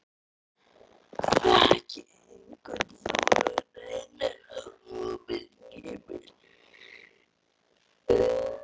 Þekki hvernig þú reynir að koma skipulagi á villuráfandi hugsanirnar.